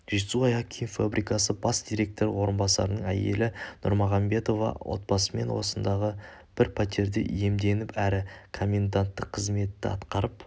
жетісу аяқ киім фабрикасы бас директоры орынбасарының әйелі нұрмағамбетова отбасымен осындағы бір пәтерді иемденіп әрі коменданттық қызметті атқарып